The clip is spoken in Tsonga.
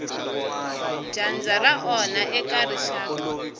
dyandza ra onha eka rixaka